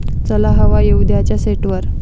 चला हवा येऊ द्या'च्या सेटवर